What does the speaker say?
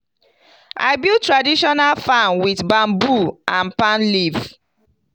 i build traditional farm with bamboo and palm leaf.